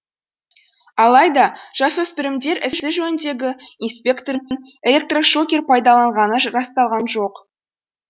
алайда жасөспірімдер ісі жөніндегі инспектордың электрошокер пайдаланғаны расталған жоқ